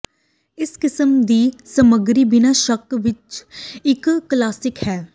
ਇਸ ਕਿਸਮ ਦੀ ਸਮੱਗਰੀ ਬਿਨਾਂ ਸ਼ੱਕ ਇਕ ਕਲਾਸਿਕ ਹੈ